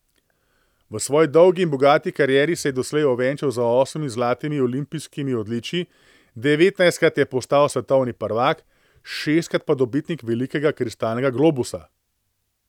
V svoji dolgi in bogati karieri se je doslej ovenčal z osmimi zlatimi olimpijskimi odličji, devetnajstkrat je postal svetovni prvak, šestkrat pa dobitnik velikega kristalnega globusa.